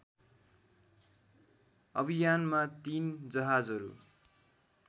अभियानमा तीन जहाजहरू